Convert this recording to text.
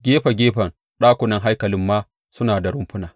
Gefe gefen ɗakunan haikalin ma suna da rumfuna.